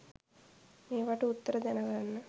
මේවට උත්තර දැනගන්න